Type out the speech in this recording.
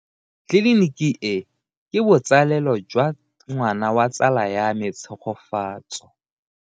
Tleliniki e, ke botsalêlô jwa ngwana wa tsala ya me Tshegofatso.